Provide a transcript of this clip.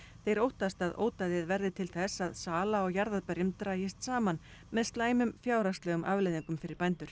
þeir óttast að ódæðið verði til þess að sala á jarðarberjum dragist saman með slæmum fjárhagslegum afleiðingum fyrir bændur